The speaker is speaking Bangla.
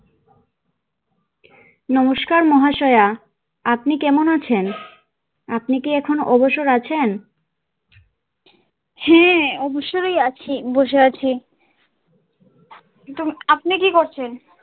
নমস্কার মহাশয়া আপনি কেমন আছেন আপনি কি এখন অবসর আছেন হ্যাঁ অবসরেই আছি বসে আছি আপনি কি করছেন।